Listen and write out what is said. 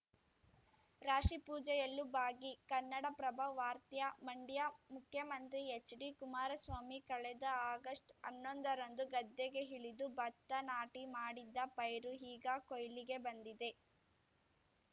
ರಾಶಿಪೂಜೆಯಲ್ಲೂ ಭಾಗಿ ಕನ್ನಡಪ್ರಭ ವಾರ್ತ್ಯಾ ಮಂಡ್ಯ ಮುಖ್ಯಮಂತ್ರಿ ಎಚ್‌ಡಿ ಕುಮಾರಸ್ವಾಮಿ ಕಳೆದ ಆಗಸ್ಟ್‌ ಅನ್ನೊಂದ ರಂದು ಗದ್ದೆಗೆ ಇಳಿದು ಭತ್ತ ನಾಟಿ ಮಾಡಿದ್ದ ಪೈರು ಈಗ ಕೊಯ್ಲಿಗೆ ಬಂದಿದೆ